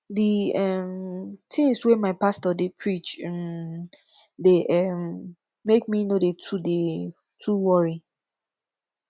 di um tins wey my pastor dey preach um dey um make me no dey too dey too worry